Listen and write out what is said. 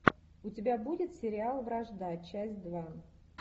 у тебя будет сериал вражда часть два